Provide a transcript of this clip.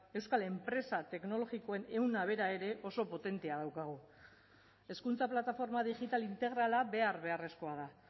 euskal enpresa teknologikoen ehuna bera ere oso potentea daukagu hezkuntza plataforma digital integrala behar beharrezkoa da